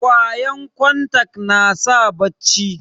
kwayan kontak nasa bacci